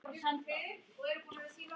Kolbeinn grön svona harðbrjósta maður?